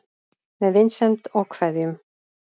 Með vinsemd og kveðjum